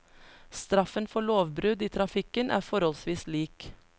Straffen for lovbrudd i trafikken er forholdsvis lik.